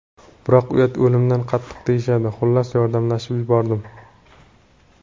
Biroq uyat o‘limdan qattiq deyishadi, xullas, yordamlashib yubordim.